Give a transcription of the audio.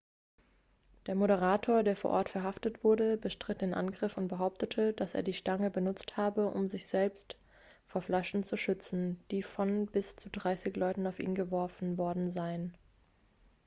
der moderator der vor ort verhaftet wurde bestritt den angriff und behauptete dass er die stange benutzt habe um sich selbst vor flaschen zu schützen die von bis zu dreißig leuten auf ihn geworfen worden seien